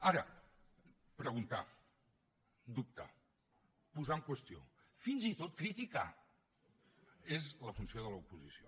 ara preguntar dubtar posar en qüestió fins i tot criticar és la funció de l’oposició